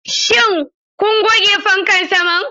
Shin kun goge fankan saman?